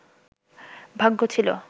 ভাগ্য ছিল